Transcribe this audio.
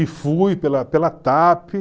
E fui pela pela TAP.